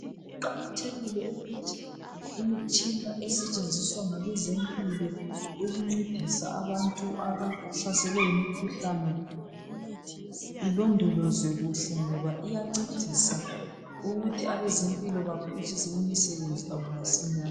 kuqakathekile ukuthi imitshina esetshenziswa ngabezempilo ukuncedisa abantu abahlaselwe yimikhuhlane ilondolozwe kuhle ngoba iyancedisa ukuthi abezempilo baphutshise imisebenzi yabo masinyane.